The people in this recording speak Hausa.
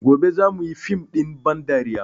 Gobe za mu yi fim ɗin ban dariya